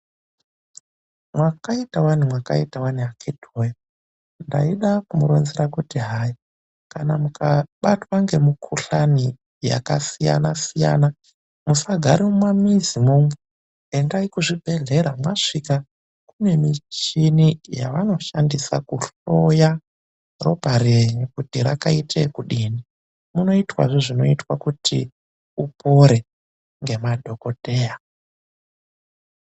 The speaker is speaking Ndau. Mwakaita wani mwakaita wani akhiti wee! Ndaida kumuronzera kuti hai kana mukabatwa ngemukhuhlani yakasiyana siyana, musagare mumamizi mwo umwo, endai kuzviibhehlera mwasvika kune michini yavanoshandisa kuhloye ngazi yenyu kuti yakaite okudini. Munoitwazve zvinoitwa kuti upore, ngemadhokodheya.